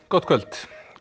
gott kvöld